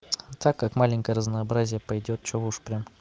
так как маленькое разнообразие пойдёт что уж вы прямо